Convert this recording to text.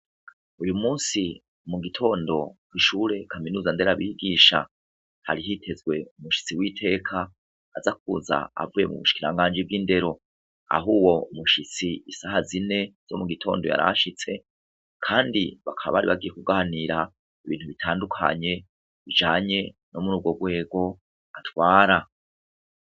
Uyu musi mu gitondo gishure kaminuza ndera bigisha harihitezwe umushitsi w'iteka azakuza avuye mu bushkiranganji bw'indero aho uwo umushitsi isaha zine zo mu gitondo yarashitse, kandi bakaba ari bagikuganira ibintu bitandukanye bijanye muri urwo rwego atwara.